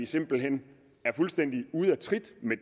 simpel hen er fuldstændig ude af trit med